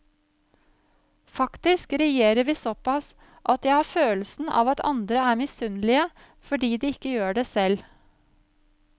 Faktisk regjerer vi såpass at jeg har følelsen av at andre er misunnelige fordi de ikke gjør det selv.